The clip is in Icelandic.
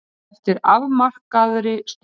Eftir afmarkaðri stund.